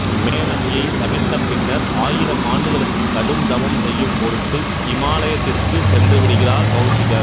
மேனகையை சபித்த பின்னர் ஆயிரம் ஆண்டுகளுக்கு கடுந்தவம் செய்யும் பொருட்டு இமாலயத்திற்கு சென்று விடுகிறார் கௌசிகர்